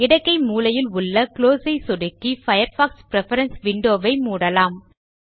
இடக்கை மேல் மூலையில் குளோஸ் ஐ சொடுக்கி பயர்ஃபாக்ஸ் பிரெஃபரன்ஸ் window வை மூடலாம்